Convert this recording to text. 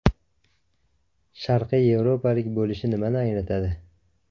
Sharqiy Yevropalik bo‘lish nimani anglatadi?